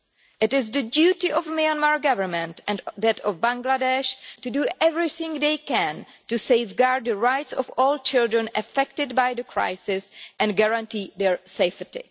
It is the duty of the Myanmar Government and that of Bangladesh to do everything they can to safeguard the rights of all children affected by the crisis and to guarantee their safety.